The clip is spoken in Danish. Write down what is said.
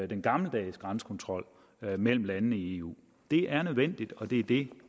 den gammeldags grænsekontrol mellem landene i eu det er nødvendigt og det er det